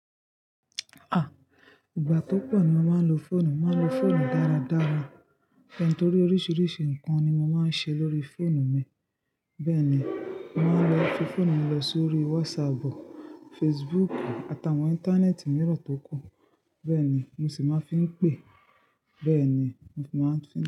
Ah! Ìgbà tó pọ̀ ni mo máa ń lo fóònù, màá lo fóònù dára dára. Torí oríṣiríṣi nǹkan ni mo máa ń ṣe lórí fóònù mi. Bẹ́ẹ̀ ni, màá lọ fi fóònù mi lọ sórí WhatsApp, Facebook àtàwọn íńtánẹ́ẹ̀tì mìíràn tó kù. Bẹ́ẹ̀ ni, mo sì máa ń fi ń pè, bẹ́ẹ̀ ni mo máa ń fi ń.